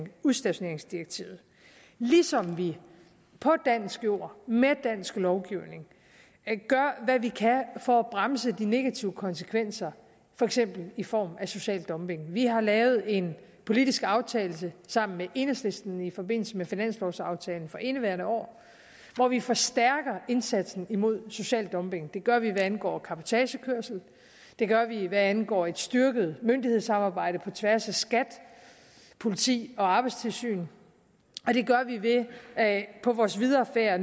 udstationeringsdirektivet ligesom vi på dansk jord med dansk lovgivning gør hvad vi kan for at bremse de negative konsekvenser for eksempel i form af social dumping vi har lavet en politisk aftale sammen med enhedslisten i forbindelse med finanslovaftalen for indeværende år hvor vi forstærker indsatsen mod social dumping det gør vi hvad angår cabotagekørsel og det gør vi hvad angår et styrket myndighedssamarbejde på tværs af skat politi og arbejdstilsynet og det gør vi ved at på vores videre færd